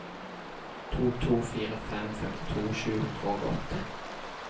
to to fire fem femtito sju hundre og åtte